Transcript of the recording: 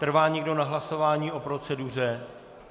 Trvá někdo na hlasování o proceduře?